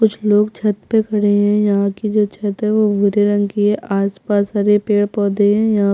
कुछ लोग छत पे खड़े है यहाँ पे जो छत है वो भूरे रंग की है आस पास हरे भरे पेड़ पौधे है और--